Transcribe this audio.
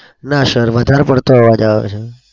ના. sir વધાર પડતો અવાજ આવે છે.